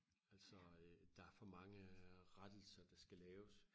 altså øh der er for mange rettelser der skal laves